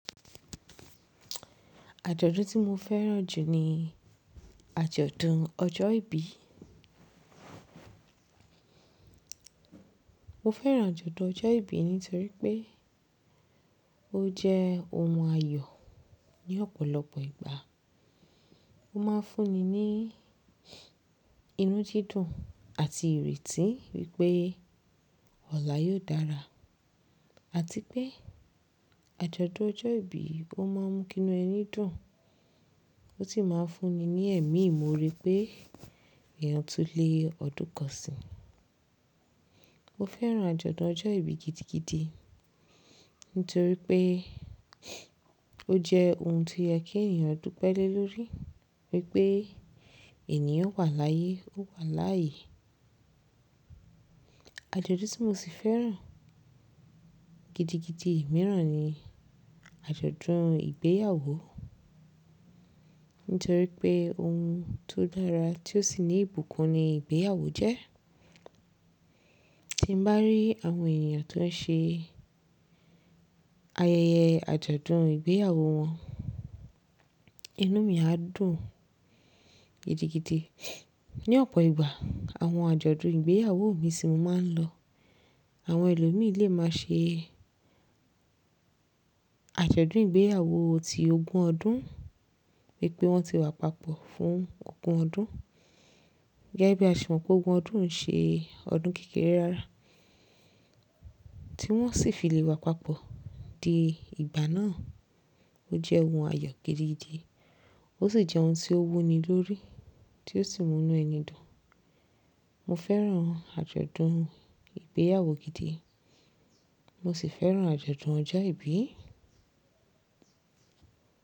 Ajọdun ti mo fẹ́ràn jù ní ajọdun ọjọ́ ìbí. Mo fẹ́ràn ajọdun ọjọ́ ìbí nítorí pé ó jẹ́ ohun ayọ̀ ní ọ̀pọ̀lọpọ̀ ìgbà. Ó máa ń fún ni ní inú dídùn àti ìrètí pé ọ̀lá yóò dára àti pé ajọdun ọjọ́ ìbí ó máa ń mú kí inú ẹni dùn. Ó sì máa ń fún ni ní ẹ̀mí ìmore pé èèyàn tún le odún kan sì. Mo fẹ́ràn ajọdun ọjọ́ ìbí gidigidi nítorí pé ó jẹ́ ohun tí ó yẹ kí èèyàn dúpẹ́ lé lórí, wípé ènìyàn wà láyé ó wà láàyè. Ajọdun tí mo sì fẹ́ràn gidigidi mìíràn ni ajọdun ìgbéyàwó. Nítorí pé ohun tó dára tí ó sì ní ìbùkún ni ìgbéyàwó jẹ́. Tí n bá rí àwọn èèyàn tó ń ṣe ayẹyẹ ajọdun ìgbéyàwó wọn, inú mi á dùn gidigidi. Ní ọ̀pọ̀ ìgbà, àwọn ajọdun ìgbéyàwó mí tí mo máa ń lọ. Àwọn ẹlòmí lé máa ṣe ajọdun ìgbéyàwó ti ogún ọdún, wípé wọ́n ti wà papọ̀ fún ogún ọdún. Gégébí a ṣe mọ̀ pé ogún ọdún o ń ṣe ọdún kékeré rárá, tí wọ́n sì fi lè wà papọ̀ di ìgbà náà. Ó jẹ́ ohun ayọ̀ gidigidi, ó sì jẹ́ ohun tí ó wúni lórí, tí ó sì mú inú ẹni dùn. Mo fẹ́ràn ajọdun ìgbéyàwó gidi, mo sì fẹ́ràn ajọdun ọjọ́ ìbí.